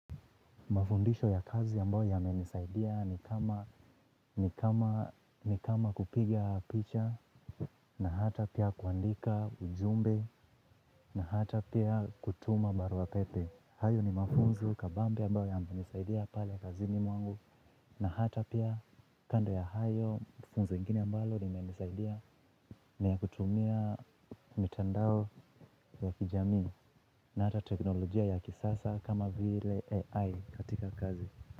Mafundisho ya kazi ambayo yamenisaidia ni kama ni kama kupiga picha na hata pia kuandika ujumbe na hata pia kutuma barua pepe. Hayo ni mafunzo kabambe ambayo yamenisaidia pale kazini mwangu na hata pia kando ya hayo mafunzo mengine ambalo yamenisaidia na ya kutumia mitandao ya kijami na hata teknolojia ya kisasa kama vile AI katika kazi.